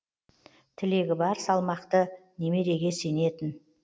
тілегі бар салмақты немереге сенетін